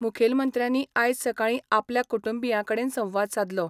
मुखेलमंत्र्यांनी आयज सकाळी आपल्या कुटुंबियांकडेन संवाद सादलो.